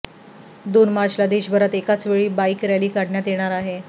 दोन मार्चला देशभरात एकाच वेळी बाईक रॅली काढण्यात येणार आहे